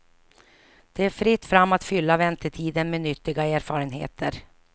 Det är fritt fram att fylla väntetiden med nyttiga erfarenheter.